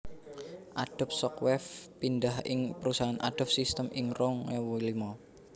Adobe Shockwave pindah ing perusahaan Adobe Systems ing rong ewu limo